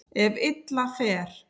Ef illa fer.